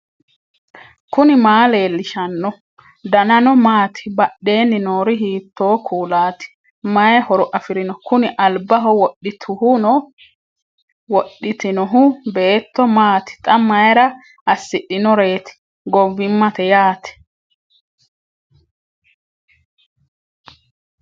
knuni maa leellishanno ? danano maati ? badheenni noori hiitto kuulaati ? mayi horo afirino ? kuni albaho wodhitinohu beetto maati xa mayra assidhinoreeti gowwimmate yaate